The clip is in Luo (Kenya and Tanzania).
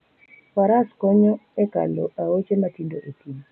Faras konyo e kalo aoche matindo e thim.